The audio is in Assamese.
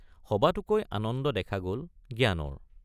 সবাতোকৈ আনন্দ দেখা গল জ্ঞানৰ।